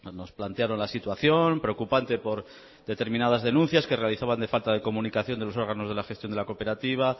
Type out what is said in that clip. nos plantearon la situación preocupante por determinadas denuncias que realizaban de falta de comunicación de los órganos de gestión de la cooperativa